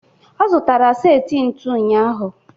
Ọ zụtara seti ntu ụnyaahụ.